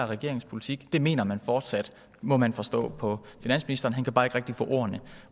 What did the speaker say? regeringens politik det mener man fortsat må man forstå på finansministeren han kan bare ikke rigtig få ordene